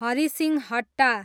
Harisinghatta